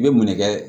I bɛ munɛkɛ